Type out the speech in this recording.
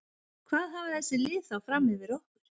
Hvað hafa þessi lið þá fram yfir okkur?